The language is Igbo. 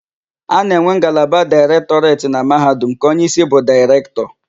A na-enwe ngalaba Daịrektọreti na Mahadum nke onyeísí bụ Daịrektọ.